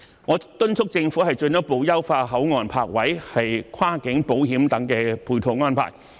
我敦促政府進一步優化口岸泊位和跨境保險等配套安排。